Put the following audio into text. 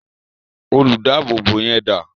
Olùdáábòbò yẹn dà?